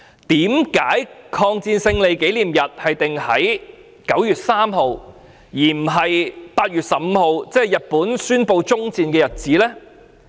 為何把抗戰勝利紀念日訂為9月3日，而不是8月15日，即是日本宣布終戰的日子呢？